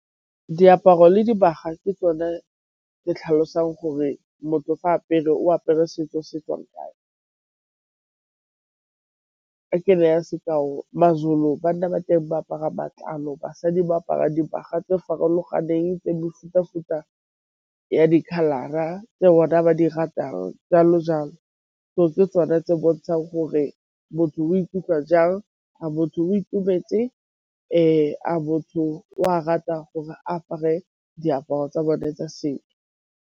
Diaparo le dibaga ke tsone tse tlhalosang gore motho fa a apere o apere setso se tswang kae. Ke neya sekao, Mazulu banna ba teng ba apara matlalo, basadi ba apara dibaga tse farologaneng tse mefuta-futa ya dikhalara tse bona ba di ratang jalo-jalo. Gore ke tsone tse bontshang gore motho o ikutlwa jang. A motho o itumetse, a motho o a rata gore a apare diaparo tsa bone tsa .